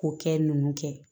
K'o kɛ nunnu kɛ